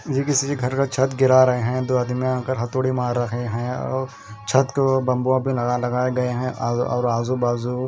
यह किसी के घर का छत गिरा रहे हैं दो आदमियां आकर हथोड़ी मार रहे हैं औ छत को बंबुओं प लगा लगाए गए हैं औ और आजू बाजू--